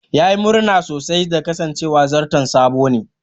Ya yi murna sosai da kasancewa zarton sabo ne.